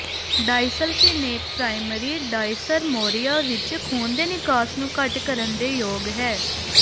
ਡਾਈਸਲਫਿਨੈਕ primary dysmenorrhoea ਵਿੱਚ ਖੂਨ ਦੇ ਨਿਕਾਸ ਨੂੰ ਘੱਟ ਕਰਨ ਦੇ ਯੋਗ ਹੈ